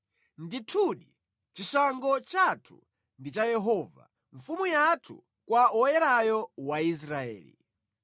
Ndithudi, chishango chathu ndi cha Yehova, Mfumu yathu kwa Woyerayo wa Israeli.